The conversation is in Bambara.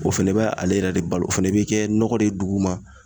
O fɛnɛ bɛ ale yɛrɛ de balo o fɛnɛ bɛ kɛ nɔgɔ de duguma